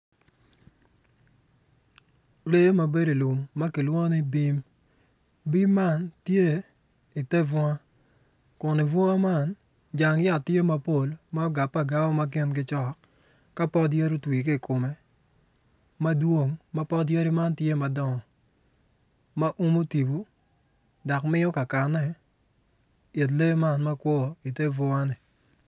Lee mabedo i lum makilwongo ni bim bim man tye iter bunga kun i dibunga man jang yat tye mapol ma ogape agape makingi cok kapot yadi ko twi kong ikome madwong mapot yadi man tye madongo ma uno tyengu dok miyo kakane it lee man makwor i ter bunga ni.